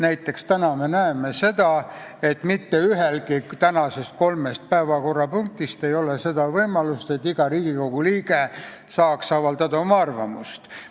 Näiteks näeme täna seda, et mitte ühegi tänase päevakorrapunkti arutelul ei ole võimalust, et iga Riigikogu liige saaks oma arvamust avaldada.